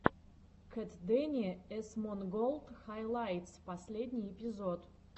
кэтдэни эсмонголд хайлайтс последний эпизод